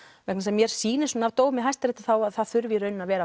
vegna þess að mér sýnist af dómi hæstaréttar að það þurfi í raun að vera